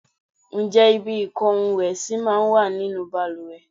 Ǹjẹ́ ibi ìko ohun ìwẹ̀ sì máa ń wà nínú bàlùwẹ̀?